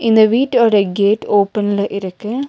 இந்த வீட்டு ஓட கேட் ஓபன்ல இருக்கு.